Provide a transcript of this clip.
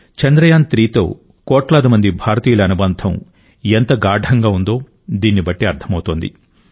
చంద్రయాన్3తో కోట్లాది మంది భారతీయుల అనుబంధం ఎంత గాఢంగా ఉందో దీన్నిబట్టి అర్థమవుతోంది